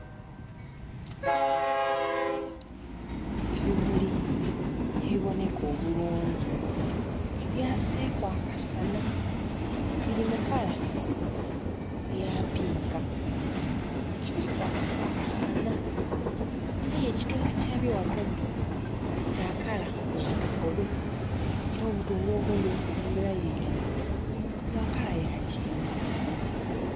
Ebimuli ebiboneka obulungi ke byaseeku akasana biri mu kala eya pinka ke biri kwakaku akasana aye ekitundu kyabyo ghagati kya kala ya kakobe era obutundhu obundhi obusemberayo ilala bwa kala ya kyenvu.